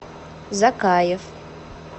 закаев